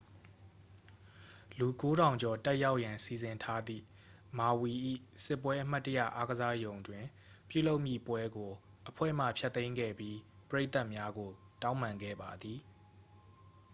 လူ 9,000 ကျော် တက်ရောက်ရန် စီစဉ်ထားသည့် မာဝီ၏ စစ်ပွဲ အမှတ်တရ အားကစားရုံတွင်ပြုလုပ်မည့်ပွဲကို အဖွဲ့မှ ဖျက်သိမ်းခဲ့ပြီး ပရိသတ်များကို တောင်းပန်ခဲ့ပါသည်